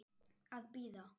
Að bíða.